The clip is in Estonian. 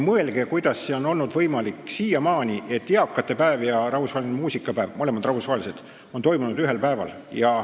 Mõelge, kuidas on olnud siiamaani võimalik, et eakate päev ja muusikapäev, mõlemad rahvusvahelised, on toimunud ühel päeval.